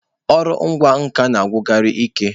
Ọrụ ịkwa nkà na-agwụkarị ike.